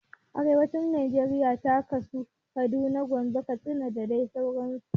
Arewacin najeriya ta ƙunshi Kaduna, Gombe, Katsina da dai sauran su